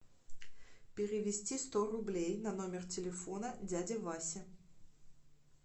перевести сто рублей на номер телефона дяди васи